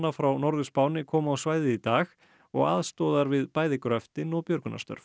frá Norður Spáni kom á svæðið í dag og aðstoðar við gröftinn og björgunarstörf